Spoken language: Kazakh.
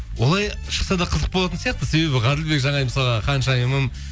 олай шықса да қызық болатын сияқты себебі ғаділбек жанай мысалға ханшайымым